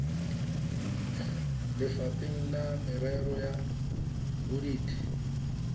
lefapheng la merero ya bodit